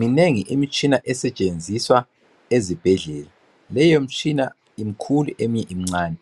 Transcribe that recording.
Minengi imitshina esetshenziswa ezibhedlela leyo mitshina mikhulu eminye mincani